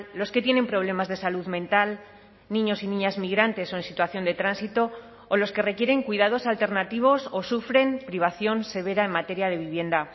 los que tienen problemas de salud mental niños y niñas migrantes o en situación de tránsito o los que requieren cuidados alternativos o sufren privación severa en materia de vivienda